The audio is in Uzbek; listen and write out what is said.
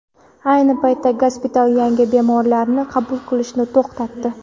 Ayni paytda gospital yangi bemorlarni qabul qilishni to‘xtatdi.